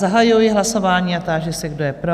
Zahajuji hlasování a táži se, kdo je pro?